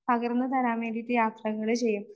പകർന്നു തരാൻ വേണ്ടിയിട്ട് യാത്രകള് ചെയ്യും.